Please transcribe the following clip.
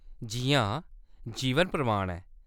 जी हां, जीवन प्रमाण ऐ।